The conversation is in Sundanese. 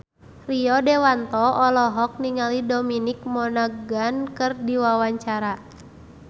Rio Dewanto olohok ningali Dominic Monaghan keur diwawancara